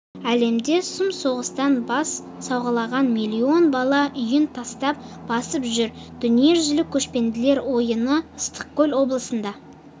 әлемде сұм соғыстан бас сауғалаған миллион бала үйін тастап босып жүр дүниежүзілік көшпенділер ойыны ыстықкөл облысында